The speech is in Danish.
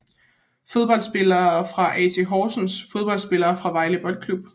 Fodboldspillere fra AC Horsens Fodboldspillere fra Vejle Boldklub